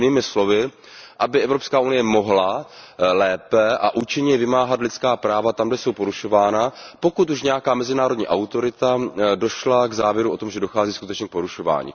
Jinými slovy, aby Evropská unie mohla lépe a účinněji vymáhat lidská práva tam, kde jsou porušována, pokud už nějaká mezinárodní autorita došla k závěru o tom, že dochází skutečně k porušování.